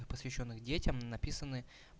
посвящённых детям написаны